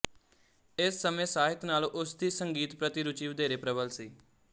ਇਸ ਸਮੇਂ ਸਾਹਿਤ ਨਾਲੋਂ ਉਸਦੀ ਸੰਗੀਤ ਪ੍ਰਤੀ ਰੁਚੀ ਵਧੇਰੇ ਪ੍ਰਬਲ ਸੀ